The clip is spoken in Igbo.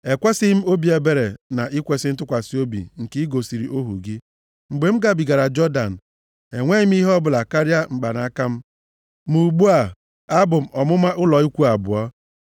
Ekwesighị m obi ebere na ikwesi ntụkwasị obi nke i gosiri ohu gị. Mgbe m gabigara Jọdan a, enweghị m ihe ọbụla karịa mkpanaka m, ma ugbu a, abụ m ọmụma ụlọ ikwu abụọ.